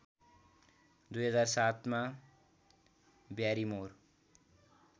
२००७ मा ब्यारिमोर